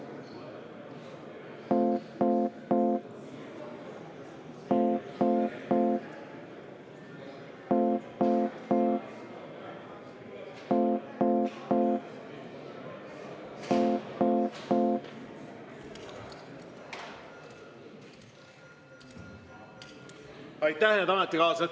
Aitäh, head ametikaaslased!